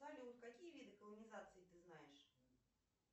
салют какие виды колонизации ты знаешь